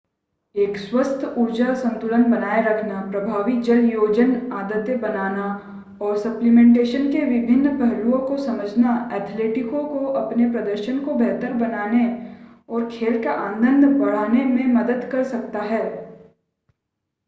एक स्वस्थ ऊर्जा संतुलन बनाए रखना प्रभावी जलयोजन आदतें बनाना और सप्लीमेंटेशन के विभिन्न पहलुओं को समझना एथलीटों को अपने प्रदर्शन को बेहतर बनाने और खेल का आनंद बढ़ाने में मदद कर सकता है